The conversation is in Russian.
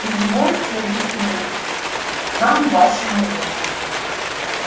извольте объяснить нам ваше мнение